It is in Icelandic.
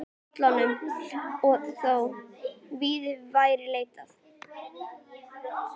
Pólunum og þó víðar væri leitað.